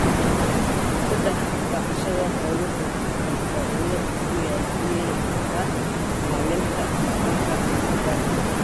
Saddex, dhaqashada xooluhu waxay faa'iido u yeelan kartaa ilaalinta dhaqanka meel gaar ah.